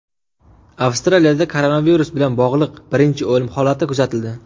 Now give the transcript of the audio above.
Avstraliyada koronavirus bilan bog‘liq birinchi o‘lim holati kuzatildi.